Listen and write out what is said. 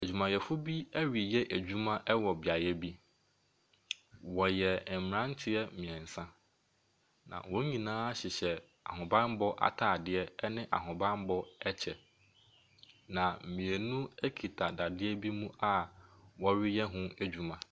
Adwumayɛfoɔ bi reyɛ adwuma wɔ beaeɛ bi. Wɔyɛ mmeranteɛ mmeɛnsa, na wɔn nyinaa hyehyɛ ahobammɔ atadeɛ ne ahobammɔ kyɛ, na mmienu kita dadeɛ bi mu a wɔreyɛ ho adwuma.